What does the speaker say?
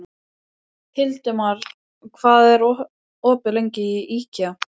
Hildimar, hvað er opið lengi í IKEA?